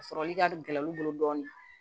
A sɔrɔli ka gɛlɛn olu bolo dɔɔnin